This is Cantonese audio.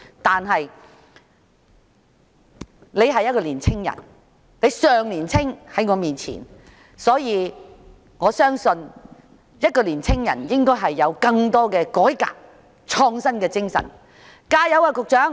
可是，他是一位年青人，與我相比，他尚算年青，我相信年青人應該有更大的改革和創新精神，局長請加油。